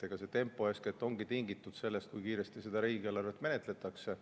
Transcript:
Eks see tempo ongi tingitud eeskätt sellest, kui kiiresti riigieelarvet menetletakse.